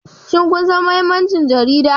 Shin kun san mahimmancin jaridu?